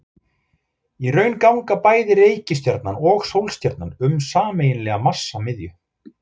Í raun ganga bæði reikistjarnan og sólstjarnan um sameiginlega massamiðju.